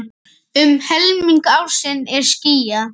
Um helming ársins er skýjað.